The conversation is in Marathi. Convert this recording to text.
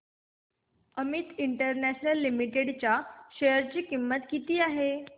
अमित इंटरनॅशनल लिमिटेड च्या शेअर ची किंमत किती आहे